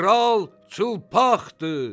Kral çılpaqdır!